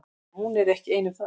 En hún er ekki ein um það.